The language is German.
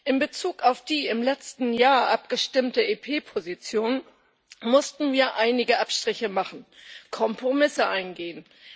In Bezug auf die im letzten Jahr abgestimmte EP Position mussten wir einige Abstriche machen und Kompromisse eingehen.